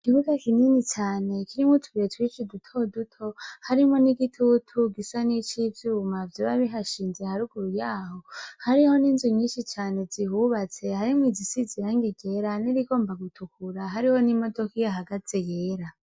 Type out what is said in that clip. Ikibuga kinini cane kirimwo utubuye twin I dutoduto harimwo n'igitutu gisa n'icivyo ubumavyo babi hashinze haruguru yaho hariho n'inzu nyinshi cane zihubatse harimwo izisi zirange gera nirigomba gutukura hariho n'imodoko iyo hagaze yera.